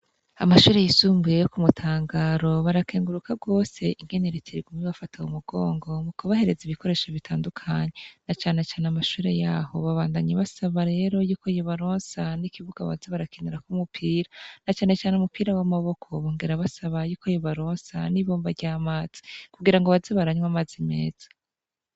Amashure yisumbuye yo kumutangaro barakenguruka gose ingene reta iguma ibafata mumugongo mukubahereza ibikoresho bitandukanye na cane cane amashure yaho babandanya basaba rero yuko yobaronsa nikibuga boza barakinirako umupira na cane cane umupira wamaboko bongera basaba yuko yobaronsa nibomba ryamazi kugirango baze baranywa amazi meza